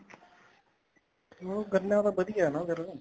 ਹਮ ਗੰਨਾ ਤਾਂ ਵਧੀਆ ਨਾ ਫ਼ੇਰ